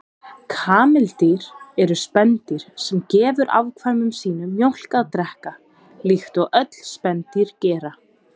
Kameldýr eru spendýr sem gefur afkvæmum sínum mjólk að drekka, líkt og öll spendýr gera.